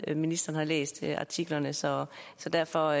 at ministeren har læst artiklerne så så derfor